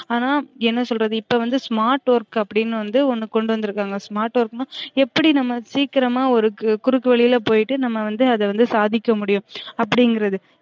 ஆனா என்ன சொல்றது இப்ப வந்து smart work அப்டினு வந்து ஒன்னு கொண்டு வந்திருக்காங்க smart work னா எப்டி நம்ம சீக்கிரமா ஒரு குறுக்கு வழில போய்ட்டு நம்ம வந்து அத வந்து சாதிக்கமுடியும் அப்டிங்கிறது